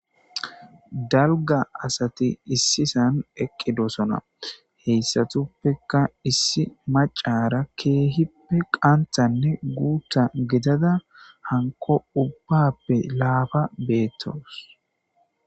Daliga asati issi sani eqidisona he issinotuppekka issi maccara kehippe qanthanne gutha gidada hanikko ubbappe lappa gidada betawusi